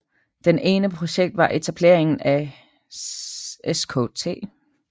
Det ene projekt var etableringen af Skt